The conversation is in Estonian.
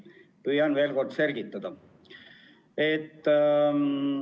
Püüan veel kord selgitada.